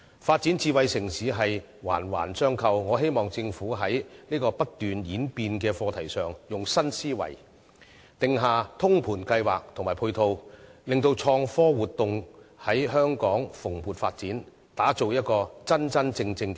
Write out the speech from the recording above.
發展智慧城市是環環相扣的，在這個不斷演變的課題上，我希望政府運用新思維定下通盤計劃及配套，令到創科活動在香港蓬勃發展，打造香港成為一個真正的 smart city。